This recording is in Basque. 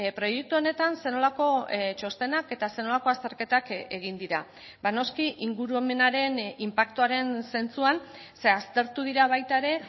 proiektu honetan zer nolako txostenak eta zer nolako azterketak egin dira noski ingurumenaren inpaktuaren zentzuan ze aztertu dira baita ere